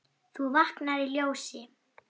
þú vaknar í ljósi.